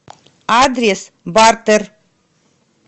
адрес бартер